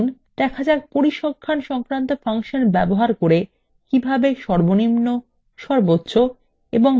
চলুন দেখ যাক পরিসংখ্যান সংক্রান্ত ফাংশন ব্যবহার করে কিভাবে সর্বনিম্ন সর্বোচ্চ এবং মধ্যমা খরচ নির্ণয় করা যায়